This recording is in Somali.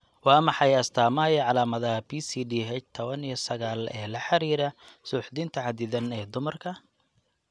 Waa maxay astaamaha iyo calaamadaha PCDH tawan iyo sagaal ee la xidhiidha suuxdinta xaddidan ee dumarka?